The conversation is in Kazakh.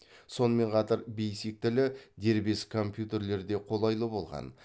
сонымен қатар бейсик тілі дербес компьютерлерде қолайлы болған